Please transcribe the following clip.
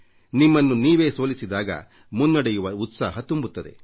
ನಿಮ್ಮನ್ನು ನೀವೇ ಸೋಲಿಸಿದಾಗ ಮುನ್ನಡೆಯುವ ಉತ್ಸಾಹ ತುಂಬುತ್ತದೆ